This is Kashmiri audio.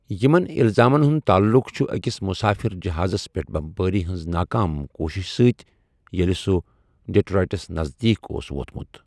یِمَن الزامَن ہُنٛد تعلُق چھُ أکِس مسافر جہازَس پٮ۪ٹھ بمبٲری ہٕنٛز ناکام کوٗشش سۭتۍ ییٚلہِ سُہ ڈیٹرائٹَس نزدیٖک اوس ووتمُت۔